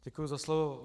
Děkuji za slovo.